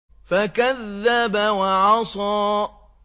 فَكَذَّبَ وَعَصَىٰ